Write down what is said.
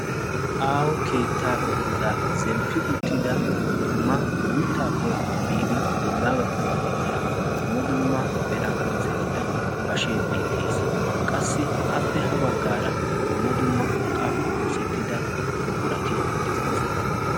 aaho keettaa godaa zemppi uttida dumma guuttaappe biidi woggaa gakkanawu de'iya dumma dumma meran oosettida bashee beettees qassi appe ha baggaara dumma dumma urqqaappe oosettida buqurati de'oosona